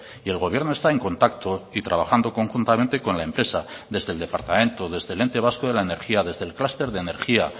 y el gobierno está en contacto y trabajando conjuntamente con la empresa desde el departamento desde el ente vasco de la energía desde el clúster de energía